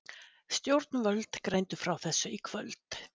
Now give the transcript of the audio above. Stjórnvöld greindu frá þessu í kvöld